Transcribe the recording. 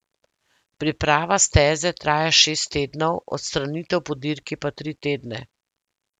Priprava steze traja šest tednov, odstranitev po dirki pa tri tedne.